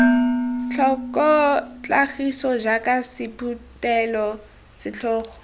tlhoko tlhagiso jaaka sephuthelo setlhogo